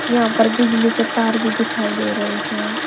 यहां पर बिजली के तार भी दिखाई दे रहे हैं।